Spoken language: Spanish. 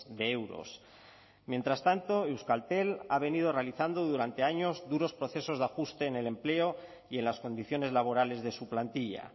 de euros mientras tanto euskaltel ha venido realizando durante años duros procesos de ajuste en el empleo y en las condiciones laborales de su plantilla